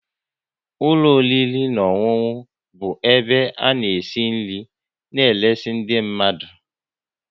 ụlọ oriri na ọṅụṅụ bụ ebe ana esi nri na eresi ndị mmadụ